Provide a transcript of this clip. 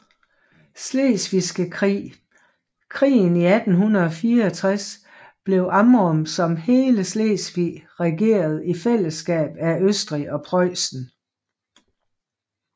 Slesvigske Krig krigen i 1864 blev Amrum som hele Slesvig regeret i fællesskab af Østrig og Preussen